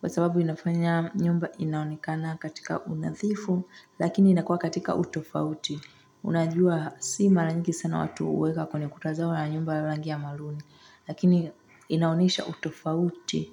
kwa sababu inafanya nyumba inaonekana katika unadhifu lakini inakua katika utofauti. Unajua si mara nyingi sana watu huweka kwenye kuta zao rangi ya maruni lakini inaonyesha utofauti.